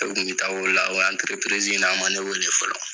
ni ta wili la, o anterepirizi in na ,a ma ne wele fɔlɔ.